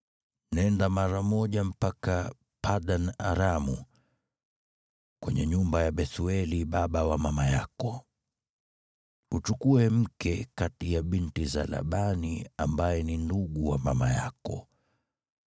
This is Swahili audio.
Nenda mara moja mpaka Padan-Aramu, kwenye nyumba ya Bethueli baba wa mama yako. Uchukue mke kati ya binti za Labani ambaye ni ndugu wa mama yako.